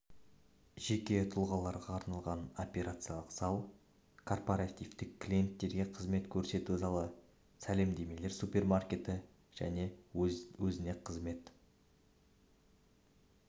жеке тұлғаларға арналған операциялық зал корпоративтік клиенттерге қызмет көрсету залы сәлемдемелер супермаркеті және өз-өзіне қызмет